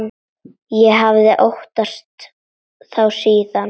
Ég hafði óttast þá síðan.